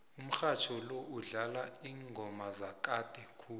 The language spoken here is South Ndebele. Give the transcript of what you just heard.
umrhatjho lo udlala iingoma zakade khulu